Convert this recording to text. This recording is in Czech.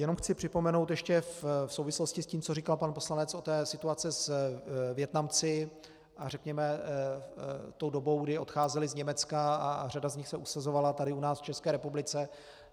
Jenom chci připomenout ještě v souvislosti s tím, co říkal pan poslanec, o té situaci s Vietnamci, a řekněme, tou dobou, kdy odcházeli z Německa a řada z nich se usazovala tady u nás v České republice.